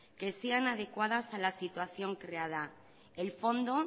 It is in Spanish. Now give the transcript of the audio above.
que sean adecuadas a la situación creada el fondo